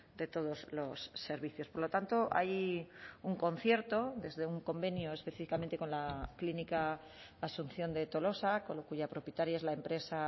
de todos los servicios por lo tanto hay un concierto desde un convenio específicamente con la clínica asunción de tolosa cuya propietaria es la empresa